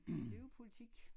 Det er jo politik